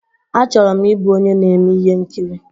Achọrọ m ịbụ onye na-eme ihe nkiri.